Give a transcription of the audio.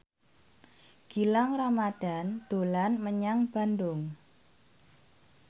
Gilang Ramadan dolan menyang Bandung